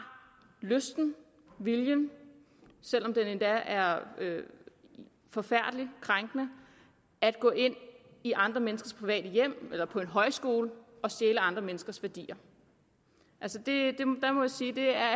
lysten viljen selv om det er forfærdeligt krænkende at gå ind i andre menneskers private hjem eller på en højskole og stjæle andre menneskers værdier jeg må sige at